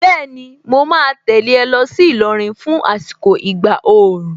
Bẹ́ẹ̀ni, mo ma tẹ̀lé ẹ lọ sí Ìlọrin fún àsìkò ìgbà òòrùn.